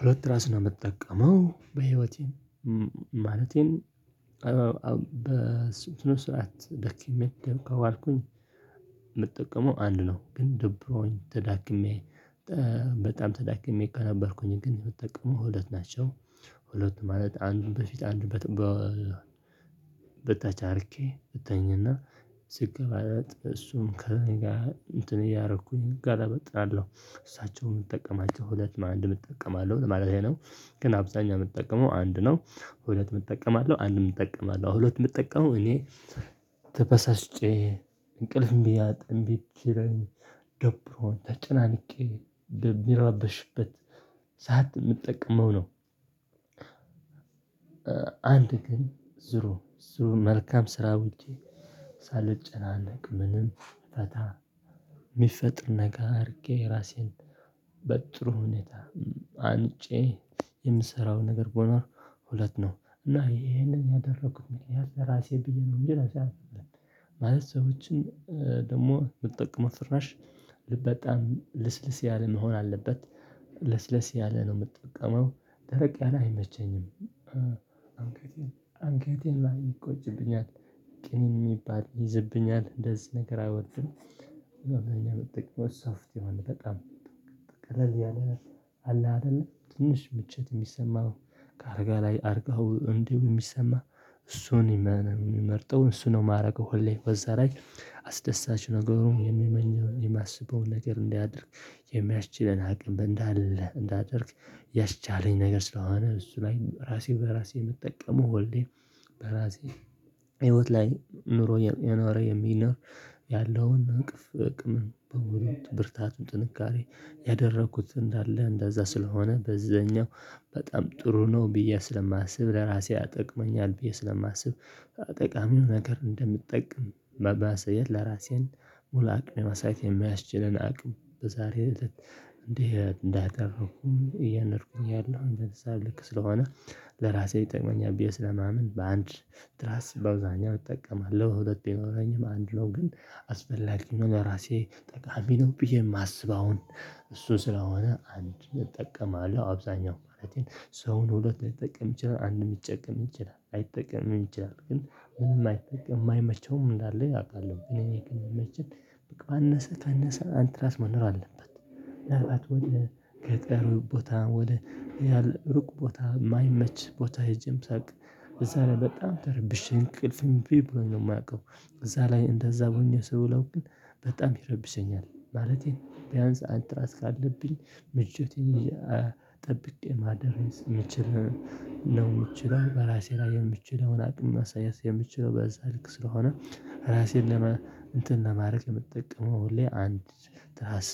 ሁለት ራስ ነው ምጠቀመው በህይወቴ። ማለቴም በስነ ስርዓት ደክሜ ከዋልኩኝ። ምጠቀመው አንድ ነው ግን ደብሮኝ ተዳክሜ በጣም በጣም ተዳክሜ እኮ ከነበርኩኝ ግን የምትጠቀመው ሁለት ናቸው። ሁለት ማለት አንዱን በፊት አንዱን በኋላ። በተቻርኬ እተኝና ስገባለት እሱም ከእኔ ጋር እንትን እያረኩኝ ጋር አበጣለሁ እሳቸውም የምጠቀማቸው ሁለት ማንም እጠቀማለሁ ለማለቴ ነው። ግን አብዛኛው ምጠቀመው አንድ ነው። ሁለት እጠቀማለሁ አንድም እጠቀማለሁ ሁለት ምጠቀመው እኔ ተበሳስጬ እንቅልፍ እንቢ ብችለኝ ደብሮኝ ተጨናንቄ ብረበሽበት ሰዓት ምጠቀመው ነው። አንድ ግን ዞሮ ዞሮ መልካም ስራ ውጪ። ሳልጨናነቅ ምንም ፈታ ሚፈጥር ነገር አርጌ ራሴን በጥሩ ሁኔታ አንጬ የምሰራው ነገር በኖር ሁለት ነው። እና ይሄንን ያደረኩት ምክንያት ለራሴ ብዬ ነው እንጂ እኔ አልሰራም። ማለት ሰዎችን ደግሞ የምጠቀመው ፍራሽ ልስልስ ያለ መሆን አለበት። ልስልስ ያለ ነው ምጠቀመው ደረቅ ያለ አይመቸኝም። እና ምን ይቆጭብኛል ቅም ሚባል ይይዝብኛል እንደዚህ ነገር አይወድም። መደበኛ ምጠቀመው ሶፍት የሆነ በጣም ቃለል የለ ነው አለ አይደለ ትንሽ ምችት የሚሰማው። ከአልጋ ላይ አርጋሀው እንዲህ ሚሰማ እሱን እና ነው ሚመርጠው እሱ ነው ማረገው ሁሌ በዛ ላይ። አስደሳች ነገሩ የሚመኘው የማስበውን ነገር እንዲያደርግ። የሚያስችለን አቅም እንዳለ እንዳደርግ ያስቻለኝ ነገር ስለሆነ እሱ ለይ ራሴ በራሴ የምጠቀመው ሁሌም። በራሴ ህይወት ላይ ኑሮ የኖረ የሚኖር ያለውን እቅፍ አቅምም በውሎ ብርታት ጥንካሬ ያደረኩት እንዳለ እንደዛ ስለሆነ በዛኛው በጣም ጥሩ ነው ብዬ ስለማስብ ለራሴ ይጠቅመኛል ብዬ ስለማስብ። ጠቃሚ ነገር እንደምጠቃም መሰየት ለራሴም ሙሉ አቅም የማሳየት የሚያስችለን አቅም በዛሬ እለት። እንደ እህት እንዳደረኩኝ እያኖርኩኝ ያለው እንደዛ ልክ ስለሆነ። ለራሴ ይጠቅመኛል ስለማምን በአንድ ትራስ በአብዛኛው እጠቀማለሁ ሁለት ቢኖረኝም አንድ ነው። ግን አስፈላጊ ነው ለራሴ ጠቃሚ ነው ብዬ ማስበውን እሱ ስለሆነ አንድ እጠቀማለሁ አብዛኛው ማለቴ ሰውን ሁለት ሊጠቃም ይችላል አንድ ሊጨቀም ይችላል ለይጠቅምም ይችላል። ግን ምን ማይጠቀም ማይመቸውም እንዳለ አውቃለሁ ግን የኔ ግን ምመቸኝ ባነሳ ባነሳ አንድ ትራስ መኖር አለበት። ወደ ገጠር ቦታ ወደ ያለ ሩቅ ቦታ ማይመች ቦታ ሄጄም ሳርግ እዛ ላይ በጣም ተረብሼ እንቅልፍም እምብ ብሎኝ ነው ማቀው። እዛ ላይ እንደዛ ሆኜ ስዊለው ግን በጣም ይረብሰኛል ማለቴ ቢያንስ አንድ ትራስ ካለብኝ ምሽት ይሄ ጠብቄ ማደር ምችለው። ነው ምችለውን በራሴ ላይ የምችለውን አቅም ማሳያት የምችለው በዛ ልክ ስለሆነ ራሴን ለማ እንትን ለማረክ የምጠቀመው ሁሌ አንድ ትራስ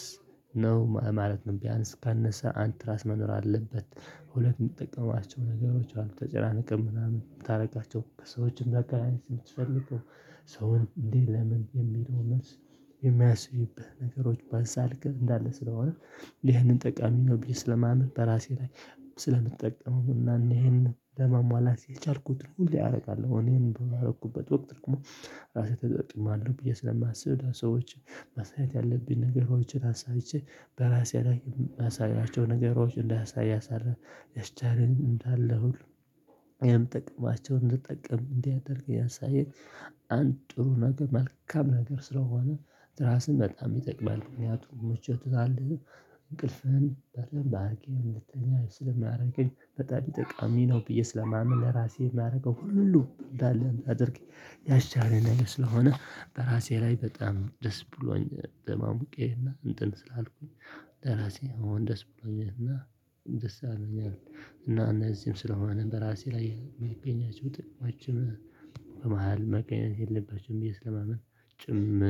ነው ማለት ነው። ቢያንስ ካነሰ አንድ ትራስ መኖር አለበት። ሁለት ምጠቀሟቸው ነገሮች አሉ ተጨናንቀን ምናምን የምታረጋቸው ከሰዎች ማገናኘት የምትፈልገው። ሰውን እንዴት ለምን የሚለው መልስ የሚያስብብህ ነገሮች ባዛልክ እንዳለ ስለሆነ። ይህንን ጠቃሚ ነው ብዬ ስለማምን በራሴ ላይ ስለምጠቀመው እና እኔ ይሄንን ለማሟላት የቻልኩትን ሁሌ አራገለሁ። እኔን በሆንኩበት ወቅት ደግሞ ራሴ ተጠቅማለሁ ብዬ ስለማስብ ለሰዎች ማሳየት ያለብኝ ነገሮችን አሳይቼ በራሴ ላይ አሳያቸው ነገሮች እንዳሳይ ያስቻልኝ እንዳለ ሁሉ እኔ ምጠቀማቸውን እንድትጠቀም እንዲያደርግ ያሳየኝ። አንድ ጥሩ ነገር መልካም ነገር ስለሆነ ትራስም በጣም ይጠቅማል። ምክንያቱም ምቾት ሰለለ እንቅልፍህን በደምብ አርገህ እንድትታኛ ስለማርግህ በጣም ጠቃሚ ነው። ብዬ ስለማምን ለራሴ ማረገው ሁሉ እንደለ እንዳደርግ። ያስቻለኝ ነገር ስለሆነ በራሴ ላይ በጣም ደስ ብሎኝ በማሞቄና እንትን ስላልኩኝ ለራሴ አሁን ደስ ብሎኛልና። ደስ አለኝና። እና እነዚህም ስለሆነ በራሴ ላይ የሚገኛቸው ጥቅማችን ጥቅሞችን በመሃል መቀየም የለበችውም ብዬ ስለማምን። ጭም